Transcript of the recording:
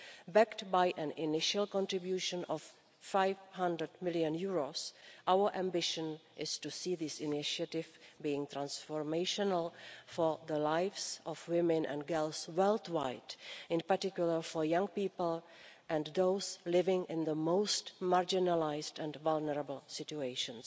Backed by an initial contribution of EUR 500 million, our ambition is to see this initiative being transformational for the lives of women and girls worldwide, in particular for young people and those living in the most marginalised and vulnerable situations.